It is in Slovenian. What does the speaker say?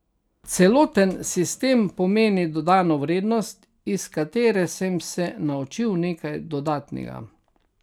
Celoten sistem pomeni dodano vrednost, iz katere sem se naučil nekaj dodatnega.